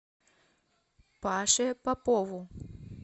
паше попову